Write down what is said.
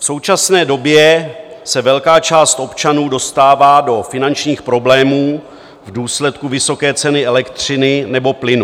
V současné době se velká část občanů dostává do finančních problémů v důsledku vysoké ceny elektřiny nebo plynu.